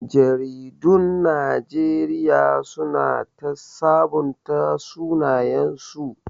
Jaridun Najeriya su na ta sabunta sunayensu